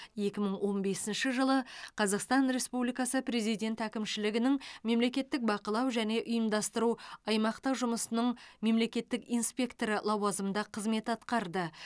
екі мың он бесінші жылы қазақстан республикасы президент әкімшілігінің мемлекеттік бақылау және ұйымдастыру аймақтық жұмысының мемлекеттік инспекторы лауазымында қызмет атқарды